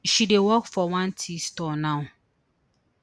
she dey work for one tea store now